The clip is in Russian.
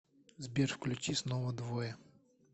сбер включи снова двое